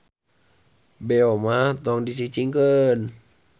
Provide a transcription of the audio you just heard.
Beo mah tong dicicingkeun.